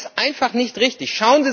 Das ist einfach nicht richtig.